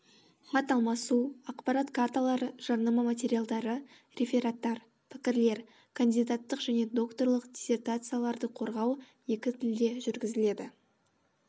хат алмасу ақпарат карталары жарнама материалдары рефераттар пікірлер кандидаттық және докторлық диссертацияларды қорғау екі тілде жүргізіледі